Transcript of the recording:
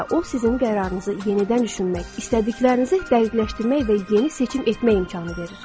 və o sizin qərarınızı yenidən düşünmək istədiklərinizi dəqiqləşdirmək və yeni seçim etmək imkanı verir.